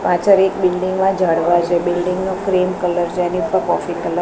પાછળ એક બિલ્ડિંગ મા ઝાડવા છે બિલ્ડિંગ નુ ક્રીમ કલર જેની પર કોફી કલર --